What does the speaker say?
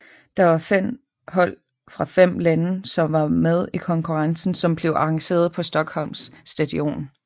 Der var fem hold fra fem lande som var med i konkurrencen som blev arrangeret på Stockholms stadion